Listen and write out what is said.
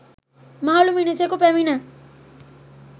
මහළු මිනිසකු පැමිණ